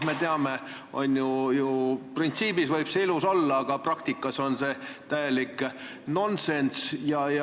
Me teame, et printsiibis võib see ilus olla, aga praktikas on see täielik nonsenss.